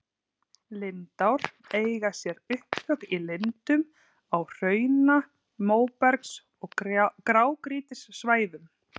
Lindár eiga sér upptök í lindum á hrauna-, móbergs- og grágrýtissvæðum.